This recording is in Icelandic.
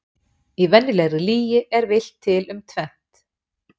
Í venjulegri lygi er villt til um tvennt.